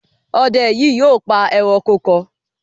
Ọdẹ yìí yóò pa ẹranko kan